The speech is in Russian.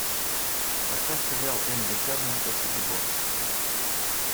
поставь сериал энди теннанта собибор